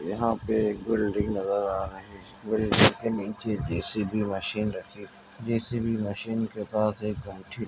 यहाँ पे एक बिल्डिंग नजर आ रही है बिल्डिंग के नीचे जे_सी_बी मशीन रखी हुई है जे_सी_बी मशीन के पास एक ।